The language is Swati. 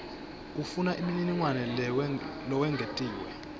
ufuna umniningwane lowengetiwe